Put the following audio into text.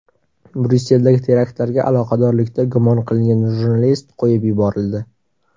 Bryusseldagi teraktlarga aloqadorlikda gumon qilingan jurnalist qo‘yib yuborildi.